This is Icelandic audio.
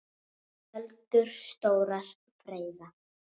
Öldur stórar freyða.